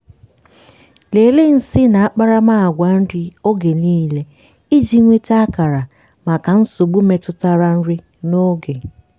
lelee nsị na akparamagwa nri oge niile iji nweta akara maka nsogbu metụtara nri n'oge.